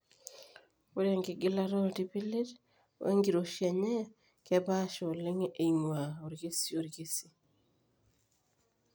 Ore enkigilata ooiltipilit oenkiroshi enye kepaasha oleng eing'ua orkesi o orkesi.